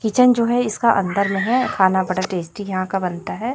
Kitchen जो है इसका अंदर में है। खाना बड़ा टेस्टी यहां का बनता है।